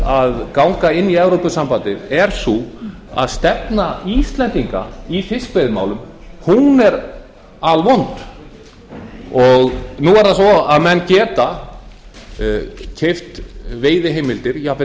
að ganga inn í evrópusambandið er sú að stefna íslendinga í fiskveiðimálum er alvond nú er það svo að menn geta keypt veiðiheimildir jafnvel